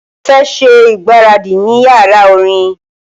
Mo fẹ ṣe igbaradi ni yara orin